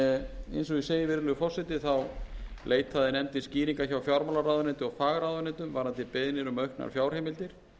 virðulegi forseti þá leitaði nefndin skýringar hjá fjármálaráðuneytinu og fagráðuneytum varðandi beiðnir um auknar fjárheimildir